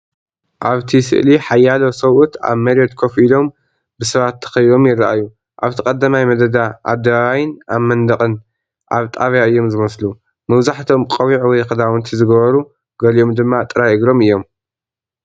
ኣብቲ ስእሊ ሓያሎ ሰብኡት ኣብ መሬት ኮፍ ኢሎም፡ ብሰባት ተኸቢቦም ይረኣዩ። ኣብቲ ቀዳማይ መደዳ ኣደባባይን ኣብ መንደቕን ኣብ ጣብያ እዮም ዝመስሉ። መብዛሕትኦም ቆቢዕ ወይ ክዳውንቲ ዝገበሩ ፡ ገሊኦም ድማ ጥራይ እግሮም እዮም።